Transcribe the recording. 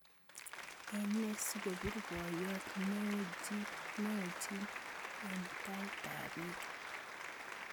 Ene sikobir boyot neoechin en taitaab biik